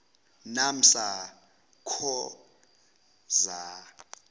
naamsa co za